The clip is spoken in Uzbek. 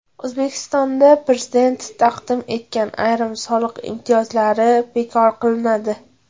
O‘zbekistonda Prezident taqdim etgan ayrim soliq imtiyozlari bekor qilinadi.